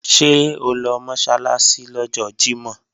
Ṣé o lọ Mọ́sálásí lọ́jọ́ Jímọ̀?